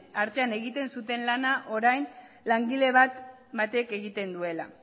artean egiten zuen lana orain langile batek egiten duela